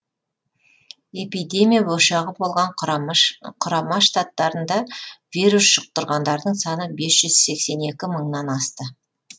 эпидемия ошағы болған құрама штаттарында вирус жұқтырғандардың саны бес жүз сексен екі мыңнан асты